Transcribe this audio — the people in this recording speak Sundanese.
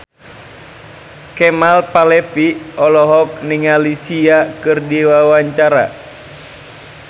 Kemal Palevi olohok ningali Sia keur diwawancara